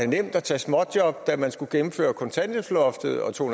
nemt at tage småjobs da man skulle gennemføre kontanthjælpsloftet og to